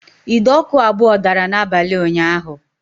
Ide ọkụ abụọ dara n'abalị ụnyaahụ